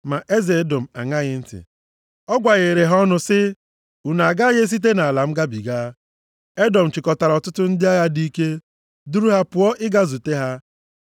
Ma eze Edọm aṅaghị ntị, ọ gwaghere ha ọnụ sị, “Unu agaghị esite nʼala gabiga.” Edọm chịkọtara ọtụtụ ndị agha dị ike duru ha pụọ ịga izute ha.